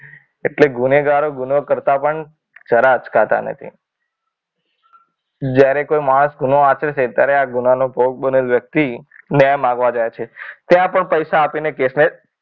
એટલે ગુનેગારો ગુનો કરતાં પણ જરાય અચકાતા નથી. જ્યારે કોઈ માણસ ગુનો આશરે છે આરે છે ત્યારે ગુના નો ભોગ બનેલ વ્યક્તિ ન્યાય માંગવા જાય છે ત્યાં પણ પૈસા આપીને કેસને,